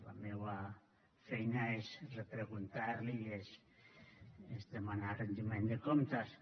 la meua feina és repreguntar l’hi i és demanar retiment de comptes